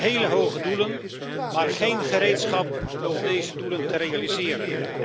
Ik zie hele hoge doelen, maar geen gereedschap om deze doelen te realiseren.